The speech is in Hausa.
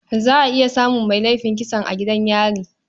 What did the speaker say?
Za a iya samun mai laifin kisan a gidan yari.